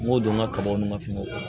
N ko don ŋa kabaw ni ka finiw